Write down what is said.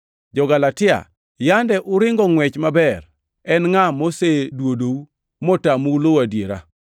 Jo-Galatia, yande uringo ngʼwech maber, en ngʼa moseduodou motamou luwo adiera?